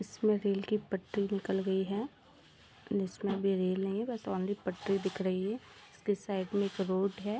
इस में रेल की पट्टी निकल गई है इसमें भी रेल नहीं है बस ऑनली पट्टी दिख रही है इसके साइड में एक रोड है।